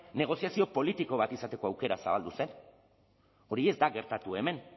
negoziazio politiko bat izateko aukera zabaldu zen hori ez da gertatu hemen